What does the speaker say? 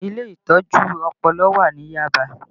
Ilé Ìtọ́jú Ọpọlọ wà ní Yaba